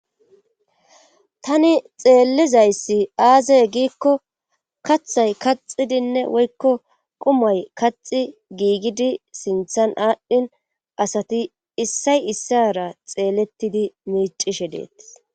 tani xeellizayssi aazey giikko kathay kaxidinne woykko qumay kaxi giigidi sinthan aadhdhin asati issay issara xeellettidi miicishe deettis